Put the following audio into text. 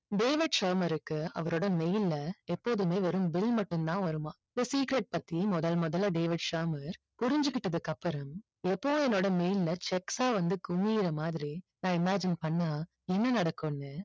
David சேமருக்கு அவரோட mail ல எப்போதுமே வெறும் bill மட்டும் தான் வருமாம் the secret பற்றி முதல் முதலில் டேவிட் சேமர் புரிஞ்சிகிட்டதுக்கு அப்புறோம் எப்பவும் என்னோட mail ல cheque ஆ வந்து குவியுற மாறி நான் imagine பண்ணா என்ன நடக்குன்னு